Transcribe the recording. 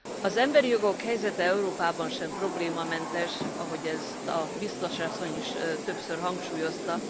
Az emberi jogok helyzete Európában sem problémamentes, ahogy ezt a biztos asszony is többször hangsúlyozta.